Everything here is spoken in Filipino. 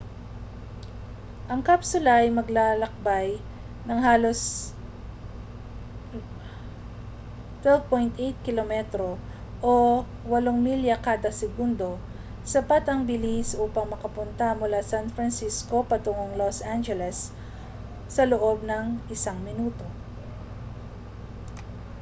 ang kapsula ay maglalakbay nang halos 12.8 km o 8 milya kada segundo sapat ang bilis upang makapunta mula san francisco patungong los angeles sa loob ng isang minuto